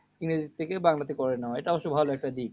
ইংরেজির থেকে বাংলাতে করে নেওয়া এটা অবশ্য ভালো একটা দিক।